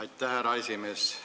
Aitäh, härra esimees!